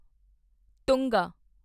ਤੁੰਗਾ